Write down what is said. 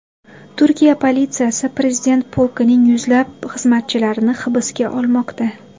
Turkiya politsiyasi prezident polkining yuzlab xizmatchilarini hibsga olmoqda.